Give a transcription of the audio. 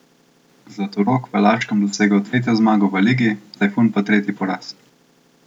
Zlatorog v Laškem dosegel tretjo zmago v ligi, Tajfun pa tretji poraz.